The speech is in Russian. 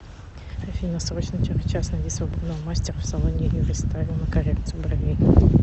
афина срочно через час найди свободного мастера в салоне юрийстайл на коррекцию бровей